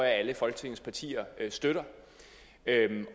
at alle folketingets partier støtter